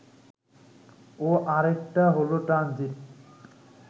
ও আরেকটা হলো ট্রানজিট